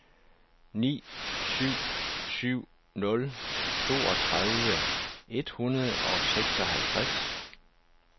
ni syv syv nul toogtredive et hundrede og seksoghalvtreds